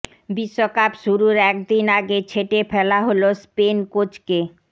বিশ্বকাপ শুরুর একদিন আগে ছেটে ফেলা হল স্পেন কোচকে